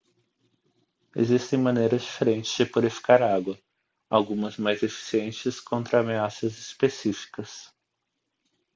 existem maneiras diferentes de purificar água algumas mais eficientes contra ameaças específicas